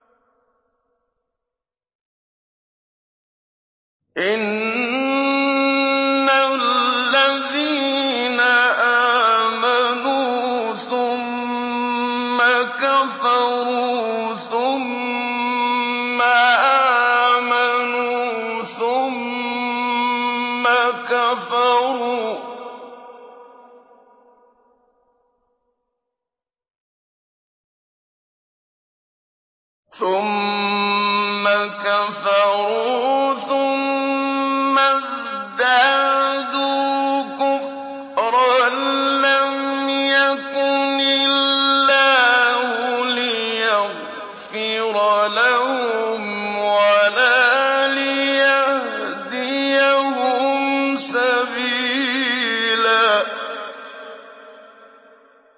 إِنَّ الَّذِينَ آمَنُوا ثُمَّ كَفَرُوا ثُمَّ آمَنُوا ثُمَّ كَفَرُوا ثُمَّ ازْدَادُوا كُفْرًا لَّمْ يَكُنِ اللَّهُ لِيَغْفِرَ لَهُمْ وَلَا لِيَهْدِيَهُمْ سَبِيلًا